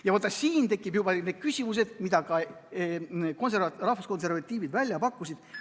Ja vaata, siin tekivad juba küsimused, mida ka rahvuskonservatiivid välja pakkusid.